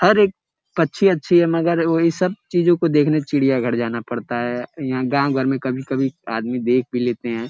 हर एक पच्छी अच्छी है मगर वहीं सब चीजों को देखने चिड़ियाघर जाना पड़ता है। यहाँ गाँव घर में कभी कभी आदमी देख भी लेते है।